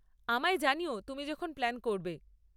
আমায় জানিও তুমি যখন প্ল্যান করবে।